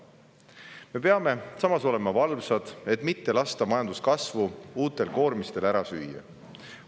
Samas peame olema valvsad, et mitte lasta uutel koormistel majanduskasvu ära süüa.